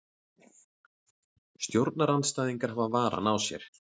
Stjórnarandstæðingar hafa varann á sér